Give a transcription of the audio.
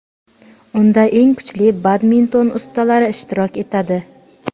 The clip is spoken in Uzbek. Unda eng kuchli badminton ustalari ishtirok etadi.